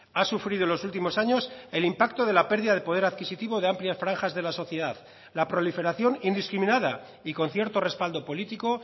ha sufrido en los últimos años el impacto de la pérdida de poder adquisitivo de amplias franjas de la sociedad la proliferación indiscriminada y con cierto respaldo político